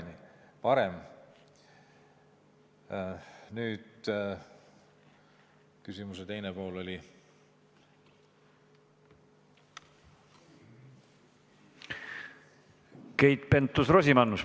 Keit Pentus-Rosimannus, palun!